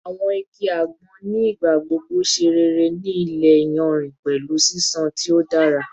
Awọn igi agbon ni igbagbogbo ṣe rere ni ile iyanrin pẹlu ṣiṣan ti o dara